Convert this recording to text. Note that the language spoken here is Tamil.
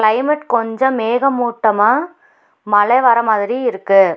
கிளைமேட் கொஞ்ச மேகமூட்டமா மழை வரமாதிரி இருக்கு.